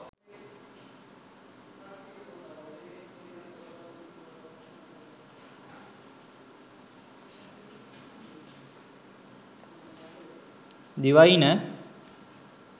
devaina